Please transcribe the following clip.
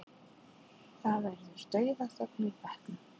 Það verður dauðaþögn í bekknum.